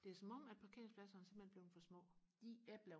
det er som om at parkeringspladserne de simpelthen er blevet for små